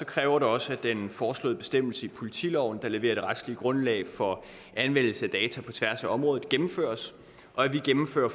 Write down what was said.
kræver det også at den foreslåede bestemmelse i politiloven der leverer det retslige grundlag for anvendelse af data på tværs af området gennemføres og at vi gennemfører